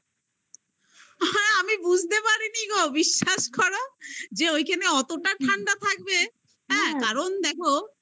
আরে আমি বুঝতে পারিনি গো বিশ্বাস করি যে ওইখানে অতটা ঠান্ডা থাকবে কারণ দেখো